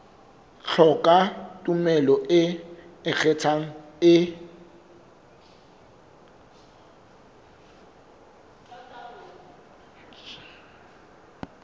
hloka tumello e ikgethang e